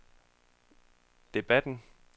debatten